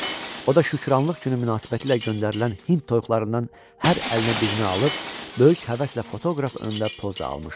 O da şükranlıq günü münasibətilə göndərilən hind toyuqlarından hər əlinə birini alıb böyük həvəslə fotoqraf önündə poza almışdı.